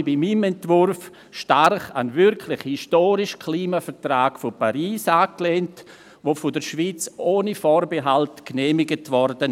Ich habe mich bei meinem Entwurf stark an den historischen Klimavertrag von Paris angelehnt, der von der Schweiz ohne Vorbehalt genehmigt wurde.